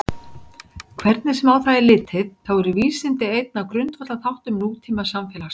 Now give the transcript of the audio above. Hvernig sem á það er litið þá eru vísindi einn af grundvallarþáttum nútímasamfélags.